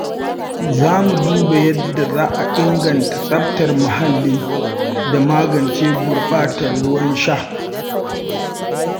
Za mu duba yadda za a inganta tsaftar muhalli da magance gurɓatar ruwan sha.